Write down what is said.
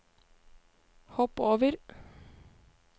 hopp over